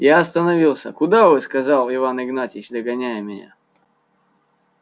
я остановился куда вы сказал иван игнатьич догоняя меня